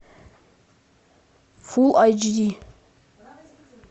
фул айч ди